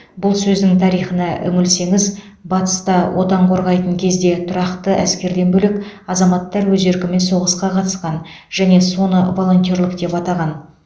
бұл сөздің тарихына үңілсеңіз батыста отан қорғайтын кезде тұрақты әскерден бөлек азаматтар өз еркімен соғысқа қатысқан және соны волонтерлік деп атаған